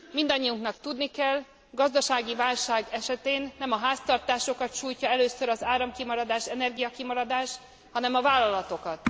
Mindannyiunknak tudni kell, gazdasági válság esetén nem a háztartásokat sújtja először az áramkimaradás, energiakimaradás, hanem a vállalatokat.